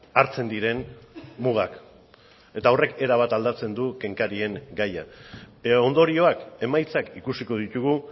hartzen diren mugak eta horrek erabat aldatzen du kenkarien gaia ondorioak emaitzak ikusiko ditugu